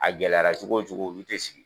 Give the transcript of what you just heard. A gɛlɛyara cogo cogo olu tɛ sigi.